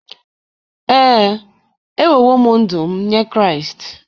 Ee, enyewo m ndụ m nye Kraịst.